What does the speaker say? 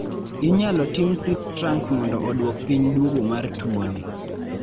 inyalo tim sistrank mondo oduok piny duogo mar tuoni